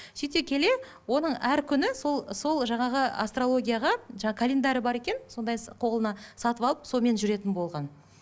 сөйте келе оның әр күні сол сол жаңағы астрологияға каленьдары бар екен сондай қолына сатып алып сонымен жүретін болған